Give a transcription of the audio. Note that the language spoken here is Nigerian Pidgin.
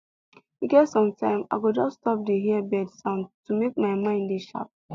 e get sometime i go just stop dey hear bird sound to make my mind dey sharp